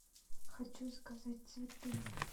хочу заказать цветы